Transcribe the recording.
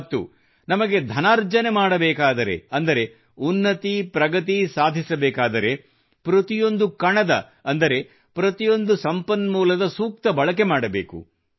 ಮತ್ತು ನಮಗೆ ಧನಾರ್ಜನೆ ಮಾಡಬೇಕಾದರೆ ಅಂದರೆ ಉನ್ನತಿ ಪ್ರಗತಿ ಸಾಧಿಸಬೇಕಾದರೆ ಪ್ರತಿಯೊಂದು ಕಣದ ಅಂದರೆ ಪ್ರತಿಯೊಂದು ಸಂಪನ್ಮೂಲದ ಸೂಕ್ತ ಬಳಕೆ ಮಾಡಬೇಕು